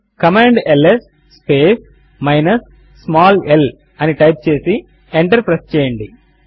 command ls space minus small l అని type చేసి enter press చేయండి